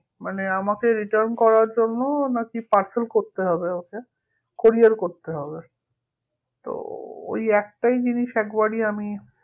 মানে আমাকে return করার জন্যও না কি parcel করতে হবে ওকে courier করতে হবে তো ওই একটাই জিনিস একবারই আমি